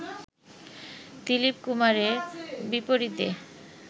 দীলিপ কুমারের বিপরীতে